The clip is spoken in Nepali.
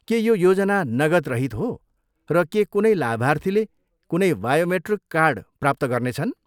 के यो योजना नगदरहित हो, र के कुनै लाभार्थीले कुनै बायोमेट्रिक कार्ड प्राप्त गर्नेछन्?